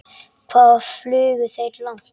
Hvað flugu þeir langt?